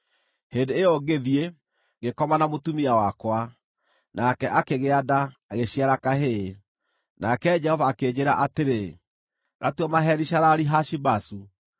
Hĩndĩ ĩyo ngĩthiĩ, ngĩkoma na mũtumia wakwa, nake akĩgĩa nda, agĩciara kahĩĩ. Nake Jehova akĩnjĩĩra atĩrĩ, “Gatue Maheri-Shalali-Hashi-Bazu.